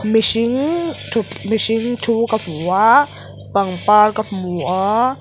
mihring thut mihring thu ka hmu a pangpar ka hmu a.